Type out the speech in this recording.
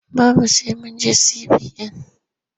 Babu sai mun je CBN.